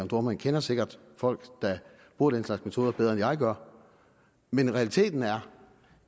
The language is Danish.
dohrmann kender sikkert folk der bruger den slags metoder bedre end jeg gør men realiteten er